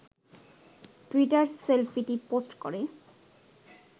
টুইটারে সেলফিটি পোস্ট করে